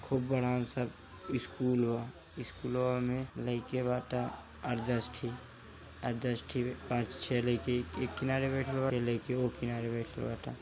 खूब बड़ा सा स्कूल अ स्कूलवा में लाइका बाटे आठ दस ठे पांच छे लड़के एक किनारे बइठल बा कुछ ओ किनारे बइठल बा।